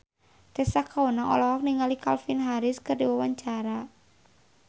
Tessa Kaunang olohok ningali Calvin Harris keur diwawancara